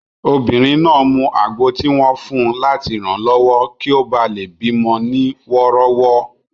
Obìnrin náà mu àgbo tí wọ́n fun láti ranlọwọ kí ó bá lè bí mọ ní wọ́rọ́wọ́